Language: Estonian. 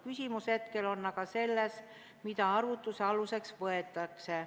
Küsimus on hetkel aga selles, mida arvutuse aluseks võetakse.